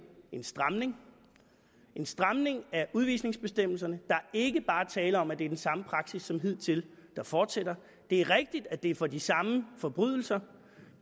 en stramning en stramning af udvisningsbestemmelserne der er ikke bare tale om at det er den samme praksis som hidtil der fortsætter det er rigtigt at det er for de samme forbrydelser